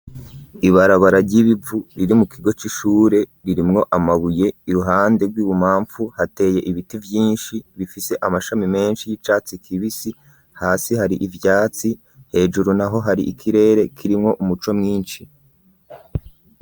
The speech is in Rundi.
Ibarabara ry'ibivu iri mu kigo c'ishure ririmwo amabuye ,iruhande rw'ububafu hateye ibiti vyinshi bifise amashami menshi y'icatsi kibisi, hasi hari ivyatsi, hejuru naho hari ikirere kirimwo umuco mwinshi.